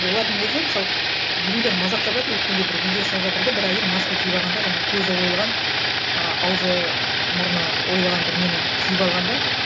олардың өзі мысалы біреулер мазақтап жатыр өткенде бір видео шығып жатыр да бір әйел маска киіп алған да жаңа көзі ойылған ы ауызы мұрны ойылған бір нені киіп алған да